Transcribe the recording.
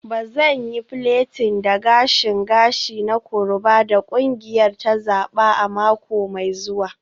Ba zan yi plaiting da gashin gashi na koroba da kungiyar ta zaba a mako mai zuwa.